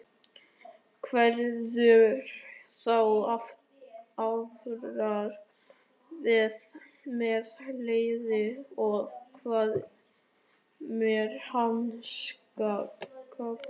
Verður þú áfram með liðið og hvað með mannskapinn?